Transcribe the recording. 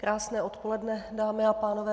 Krásné odpoledne, dámy a pánové.